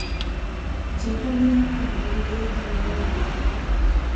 njĩira mĩnyaka mĩuru nyĩigie wendo